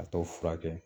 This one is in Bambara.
A tɔ furakɛ